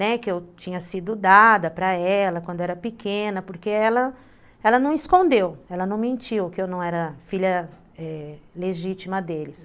que eu tinha sido dada para ela quando era pequena, porque ela não escondeu, ela ela não mentiu que eu não era filha legítima deles.